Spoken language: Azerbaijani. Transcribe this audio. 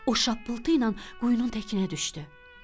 O şappıltı ilə quyunun təkinə düşdü.